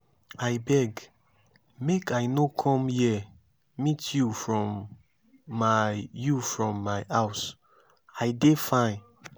i beg make i no come here meet you from my you from my house. i dey fine.